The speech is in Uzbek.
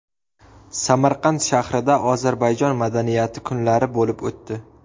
Samarqand shahrida Ozarbayjon madaniyati kunlari bo‘lib o‘tdi.